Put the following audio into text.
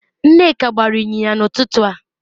Nneka gbara inyinya n'ututu a